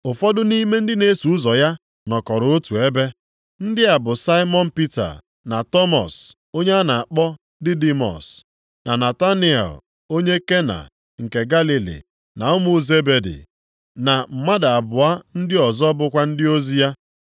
Ụfọdụ nʼime ndị na-eso ụzọ ya nọkọrọ otu ebe. Ndị a bụ Saimọn Pita na Tọmọs (onye a na-akpọ Didimọs), na Nataniel, onye Kena nke Galili na ụmụ Zebedi, na mmadụ abụọ ndị ọzọ bụkwa ndị ozi ya.